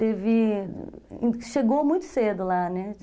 Teve... Chegou muito cedo lá, né?